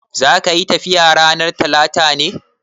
Zaka yi tafiya ranar Talata ne?